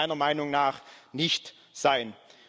Das muss meiner Meinung nach nicht sein.